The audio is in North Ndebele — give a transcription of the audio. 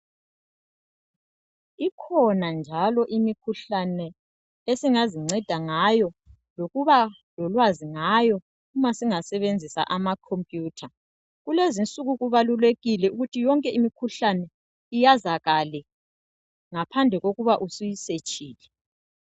Ikhona njalo imikhuhlane esingazingceda ngayo ngokuba lolwazi ngayo uma singasebenzisa ama computer kulezinsuku kubalulekile ukuthi yonke imikhuhlane iyazakale ngaphandle kokuba usuyi setshile